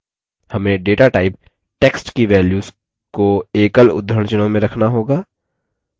हमें data type text की values को एकल उद्धरणचिह्नों में रखना होगी